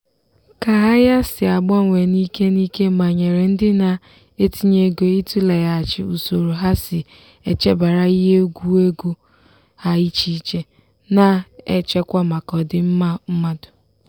ka ahịa si agbanwe n'ike n'ike manyere ndị na-etinye ego ịtụleghachi usoro ha si echebara ihe egwu ego ha echiche na-echekwa maka ọdịmma mmadụ.